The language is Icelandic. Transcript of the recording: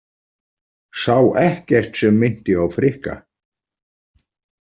Sá ekkert sem minnti á Frikka.